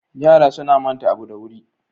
Yara suna manta abu da wuri.